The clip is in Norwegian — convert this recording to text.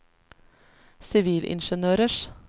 sivilingeniørers